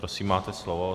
Prosím, máte slovo.